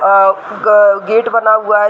आ ग गेट बना हुआ है।